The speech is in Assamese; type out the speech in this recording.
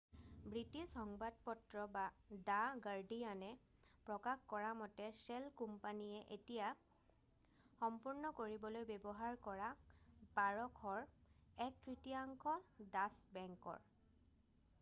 ব্ৰিটিছ সংবাদপত্ৰ দা গাৰ্ডিয়ানে প্ৰকাশ কৰামতে শ্বেল কোম্পানীয়ে এয়া সম্পূৰ্ণ কৰিবলৈ ব্যৱহাৰ কৰা 1,200ৰ এক তৃতীয়াংশ ডাচ্চ বেংকৰ